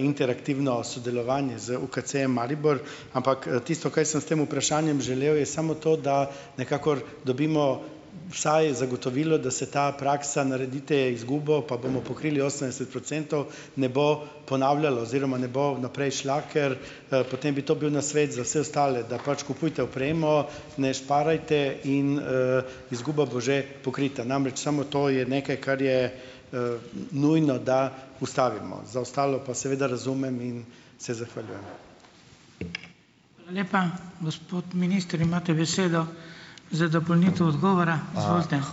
interaktivno sodelovanje z UKC-jem Maribor, ampak, tisto, kaj sem s tem vprašanjem želel, je samo to, da nekako dobimo vsaj zagotovilo, da se ta praksa, naredite izgubo pa bomo pokrili osemdeset procentov, ne bo ponavljalo oziroma ne bo naprej šla, ker, potem bi to bil nasvet za vse ostale, da pač kupujte opremo, ne šparajte in, izguba bo že pokrita, namreč samo to je nekaj, kar je, nujno, da ustavimo, za ostalo pa seveda razumem in se zahvaljujem.